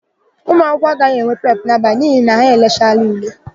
Ụmụakwụkwọ agaghị enwe prepụ n'abalị a n'ihi na ha elechaala ule.